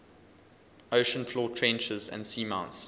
ocean floor trenches and seamounts